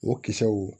O kisɛw